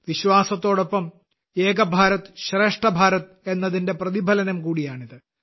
വിശ്വാസത്തോടൊപ്പം ഏക് ഭാരത് ശ്രേഷ്ഠ് ഭാരത് എന്നതിന്റെ പ്രതിഫലനം കൂടിയാണിത്